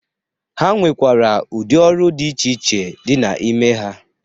Ha nwekwara ụdị ọrụ dị iche iche dị n'ime ha.